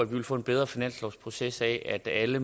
ville få en bedre finanslovsproces af at alle